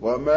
وَمَا